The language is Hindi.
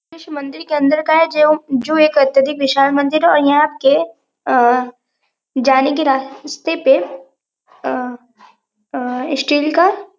दृश्य मंदिर के अंदर का है जेव जो अत्यधिक विशाल मंदिर है और यहां केअंह जाने के अंह जाने के रास्ते पे अंह अंह स्टील का........